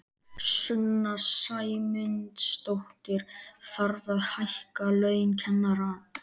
Sunna Sæmundsdóttir: Þarf að hækka laun kennara?